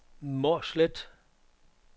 Mårslet